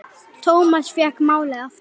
Thomas fékk málið aftur.